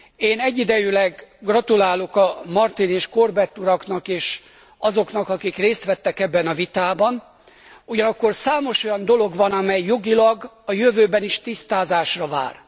Én egyidejűleg gratulálok Martin és Corbett uraknak és azoknak, akik részt vettek ebben a vitában, ugyanakkor számos olyan dolog van, amely jogilag a jövőben is tisztázásra vár.